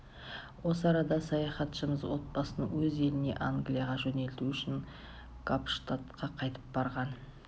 осы арада саяхатшымыз отбасын өз еліне англияға жөнелту үшін капштадқа қайтып барған